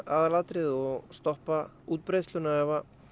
aðalatriðið og stoppa útbreiðsluna